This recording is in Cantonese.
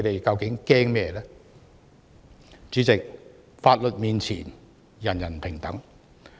主席，法律面前，人人平等。